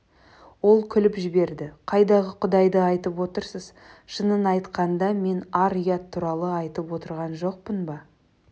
ол күліп жіберді қайдағы құдайды айтып отырсыз шынын айтқанда мен ар-ұят туралы айтып отырған жоқпын ба